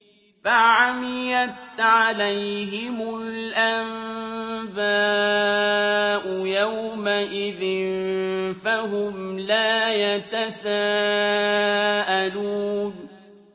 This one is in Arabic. فَعَمِيَتْ عَلَيْهِمُ الْأَنبَاءُ يَوْمَئِذٍ فَهُمْ لَا يَتَسَاءَلُونَ